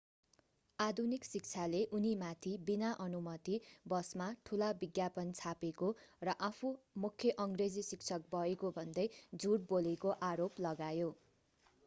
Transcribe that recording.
आधुनिक शिक्षाले उनीमाथि बिना अनुमति बसमा ठूला विज्ञापन छापेको र आफू मुख्य अंग्रेजी शिक्षक भएको भन्दै झूट बोलेको आरोप लगायो